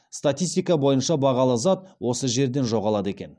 статистика бойынша бағалы зат осы жерден жоғалады екен